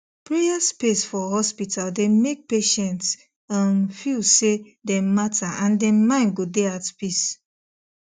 prayer space for hospital dey make patients um feel say dem matter and dem mind go dey at peace